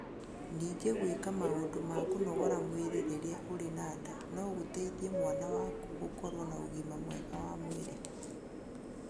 Ningĩ gwĩka maũndũ ma kũnogora mwĩrĩ rĩrĩa ũrĩ na nda no gũteithie mwana waku gũkorũo na ũgima mwega wa mwĩrĩ.